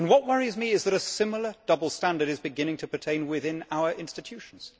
What worries me is that a similar double standard is beginning to pertain within our institutions.